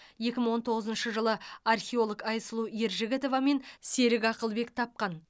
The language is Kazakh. екі мың он тоғызыншы жылы археолог айсұлу ержігітова мен серік ақылбек тапқан